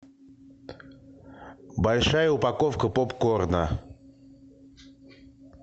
большая упаковка поп корна